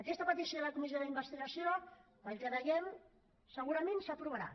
aquesta petició de comissió d’investigació pel que veiem segurament s’aprovarà